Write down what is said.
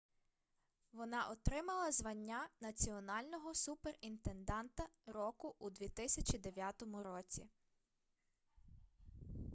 вона отримала звання національного суперінтенданта року у 2009 році